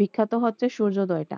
বিখ্যাত হচ্ছে সূর্যোদয়টা